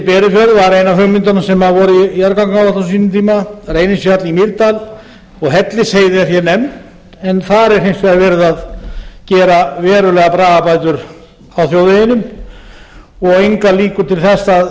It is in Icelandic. berufjörð var ein af hugmyndunum sem voru í jarðgangaáætlun á sínum tíma reynisfjall í mýrdal og hellisheiði er hér nefnd þar er hins vegar verið að gera verulegar bragarbætur á þjóðveginum og engar líkur til þess að menn séu að leggja